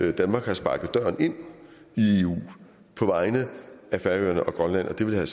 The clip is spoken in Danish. at danmark har sparket døren ind i eu på vegne af færøerne og grønland og det ville have